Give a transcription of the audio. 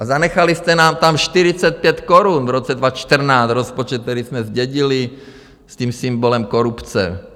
A zanechali jste nám tam 45 korun v roce 2014, rozpočet, který jsme zdědili, s tím symbolem korupce.